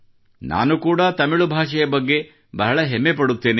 ನಾನು ಕೂಡಾ ತಮಿಳು ಭಾಷೆಯ ಬಗ್ಗೆ ಬಹಳ ಹೆಮ್ಮೆ ಪಡುತ್ತೇನೆ